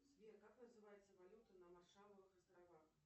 сбер как называется валюта на маршалловых островах